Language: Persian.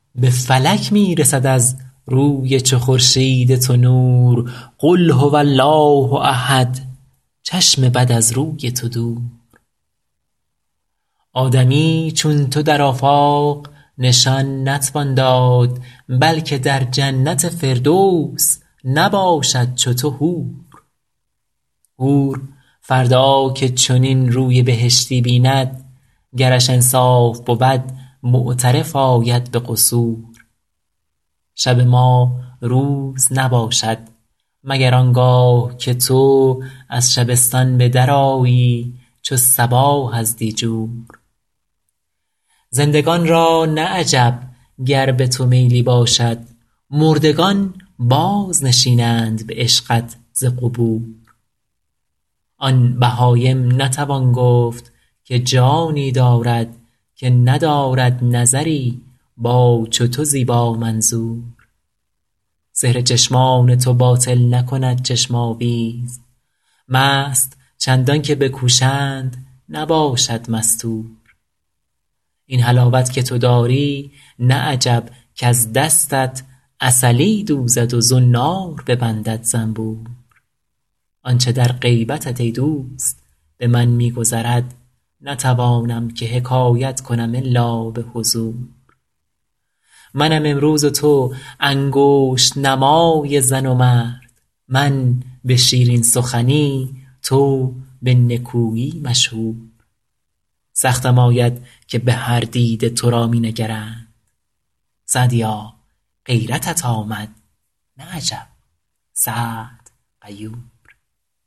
به فلک می رسد از روی چو خورشید تو نور قل هو الله احد چشم بد از روی تو دور آدمی چون تو در آفاق نشان نتوان داد بلکه در جنت فردوس نباشد چو تو حور حور فردا که چنین روی بهشتی بیند گرش انصاف بود معترف آید به قصور شب ما روز نباشد مگر آن گاه که تو از شبستان به درآیی چو صباح از دیجور زندگان را نه عجب گر به تو میلی باشد مردگان بازنشینند به عشقت ز قبور آن بهایم نتوان گفت که جانی دارد که ندارد نظری با چو تو زیبامنظور سحر چشمان تو باطل نکند چشم آویز مست چندان که بکوشند نباشد مستور این حلاوت که تو داری نه عجب کز دستت عسلی دوزد و زنار ببندد زنبور آن چه در غیبتت ای دوست به من می گذرد نتوانم که حکایت کنم الا به حضور منم امروز و تو انگشت نمای زن و مرد من به شیرین سخنی تو به نکویی مشهور سختم آید که به هر دیده تو را می نگرند سعدیا غیرتت آمد نه عجب سعد غیور